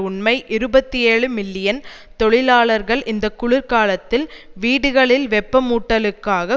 உண்மை இருபத்தி ஏழு மில்லியன் தொழிலாளர்கள் இந்த குளிர்காலத்தில் வீடுகளில் வெப்பமூட்டலுக்காக